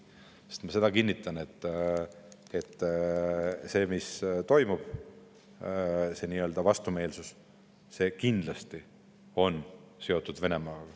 Sest seda ma kinnitan, et see, mis praegu toimub, see vastumeelsus, on kindlasti seotud Venemaaga.